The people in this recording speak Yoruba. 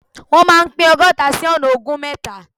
Wọ́n máa pín ọgọ́ta sí ọ̀nà ogún mẹ́ta.